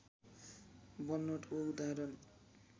बनोटको उदाहरण